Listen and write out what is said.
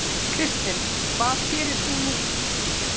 Kristinn: Hvað gerir þú nú?